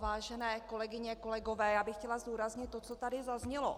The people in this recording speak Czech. Vážené kolegyně, kolegové, já bych chtěla zdůraznit to, co tady zaznělo.